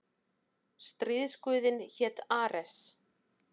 Stríðsguðinn hét Ares.